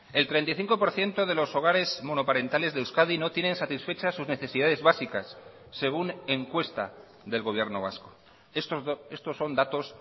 el treinta y cinco por ciento de los hogares monoparentales de euskadi no tienen satisfechas sus necesidades básicas según encuesta del gobierno vasco estos son datos